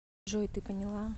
джой ты поняла